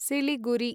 Siliguri